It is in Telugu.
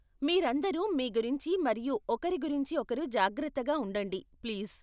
మీరందరూ మీ గురించి మరియు ఒకరి గురించి ఒకరు జాగ్రత్తగా ఉండండి ప్లీజ్.